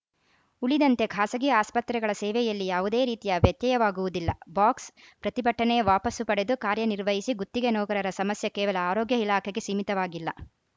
ಉಳಿದಂತೆ ಖಾಸಗಿ ಆಸ್ಪತ್ರೆಗಳ ಸೇವೆಯಲ್ಲಿ ಯಾವುದೇ ರೀತಿಯ ವ್ಯತ್ಯಯವಾಗುವುದಿಲ್ಲ ಬಾಕ್ಸ್‌ಪ್ರತಿಭಟನೆ ವಾಪಸು ಪಡೆದು ಕಾರ್ಯನಿರ್ವಹಿಸಿ ಗುತ್ತಿಗೆ ನೌಕರರ ಸಮಸ್ಯೆ ಕೇವಲ ಆರೋಗ್ಯ ಇಲಾಖೆಗೆ ಸೀಮಿತವಾಗಿಲ್ಲ